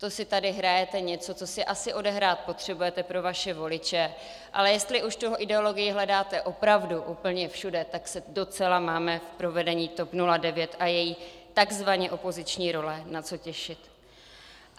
To si tady hrajete něco, co si asi odehrát potřebujete pro vaše voliče, ale jestli už tu ideologii hledáte opravdu úplně všude, tak se docela máme v provedení TOP 09 a její takzvaně opoziční role na co těšit.